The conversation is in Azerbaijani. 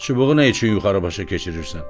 Çubuğu nə üçün yuxarı başa keçirirsən?